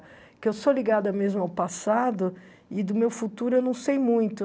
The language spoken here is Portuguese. Porque eu sou ligada mesmo ao passado e do meu futuro eu não sei muito.